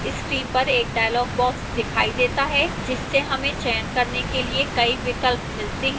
screen पर एक dialog box दिखाई देता है जिससे हमें चयन करने के लिए कई विकल्प मिलते हैं